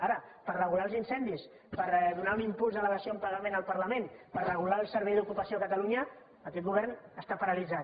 ara per regular els incendis per donar un impuls a la dació en pagament al parlament per regular el servei d’ocupació a catalunya aquest govern està paralitzat